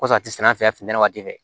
Kosɔn a tɛ sɛnɛ an fɛ yan funtɛni waati fɛ